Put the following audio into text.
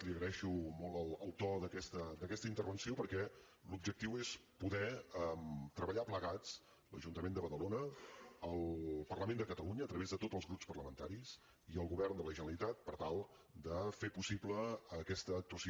li agraeixo molt el to d’aquesta intervenció perquè l’objectiu és poder treballar plegats l’ajuntament de badalona el parlament de catalunya a través de tots els grups parlamentaris i el govern de la generalitat per tal de fer possible aquesta actuació